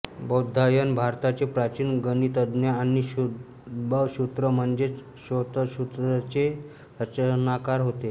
बौधायन भारताचे प्राचीन गणितज्ञ आणि शुल्ब सूत्र म्हणजेच श्रौतसूत्रचे रचनाकार होत